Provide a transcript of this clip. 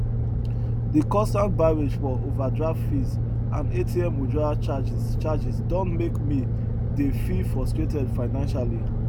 de constant barrage for overdraft fees and atm withdrawal charges charges don make me dey feel frustrated financially